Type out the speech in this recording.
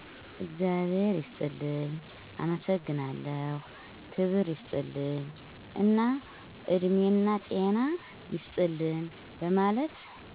እግዛብሔር ይስጥልኝ፣ አመሠግናለሁ፣ ክብር ይስጥልኝ እና እድሜናጤና ይስጥልን በመለት